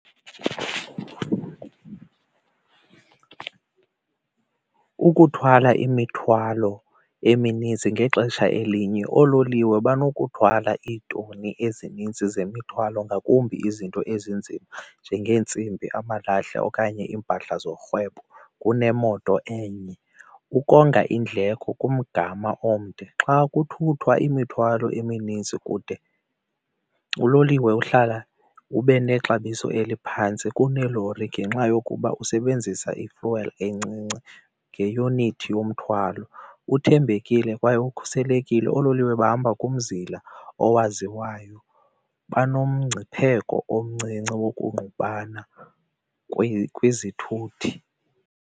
Ukuthwala imithwalo eminintsi ngexesha elinye oololiwe banokuluthwala iitoni ezinintsi zemithwalo ngakumbi izinto ezinzima njengentsimbi amalahle okanye impahla zorhwebo kunemoto enye. Ukonga iindleko kumgama omde xa kuthuthwa imithwalo eminintsi kude uloliwe uhlala ube nexabiso eliphantsi kuneelori ngenxa yokuba usebenzisa i-fuel encinci ngeyunithi yomthwalo, uthembekile kwaye ukhuselekile. Oololiwe bahamba kumzila owaziwayo, banomgciphekweni omncinci wokungqubana kwizithuthi.